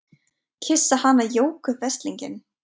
Kyssa hana Jóku veslinginn!